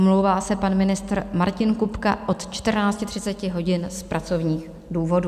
Omlouvá se pan ministr Martin Kupka od 14.30 hodin z pracovních důvodů.